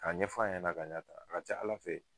Ka ɲɛfɔ a ɲɛna ka ɲɛ tan a ka ca Ala fɛ